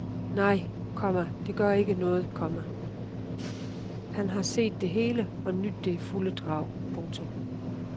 Nej, komma det gør ikke noget, komma han har set det hele og nydt det i fulde drag. punktum